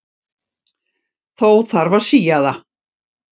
Þó þarf að sía það.